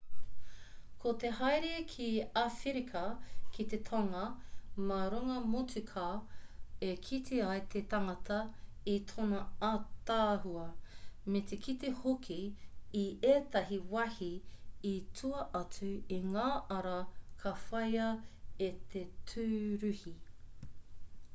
ko te haere ki awherika ki te tonga mā runga motuka e kite ai te tangata i tōna ātaahua me te kite hoki i ētahi wāhi i tua atu i ngā ara ka whāia e te tūruhi